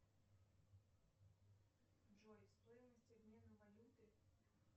джой стоимость обмена валюты